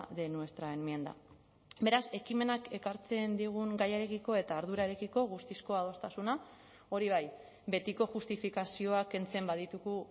de nuestra enmienda beraz ekimenak ekartzen digun gaiarekiko eta ardurarekiko guztizko adostasuna hori bai betiko justifikazioak kentzen baditugu